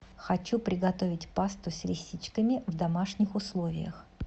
хочу приготовить пасту с лисичками в домашних условиях